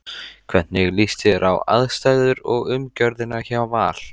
Hvernig líst þér á aðstæður og umgjörðina hjá Val?